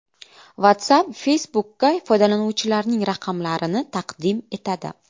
WhatsApp Facebook’ka foydalanuvchilarining raqamlarini taqdim etadi.